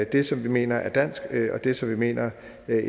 det som vi mener er dansk og det som vi mener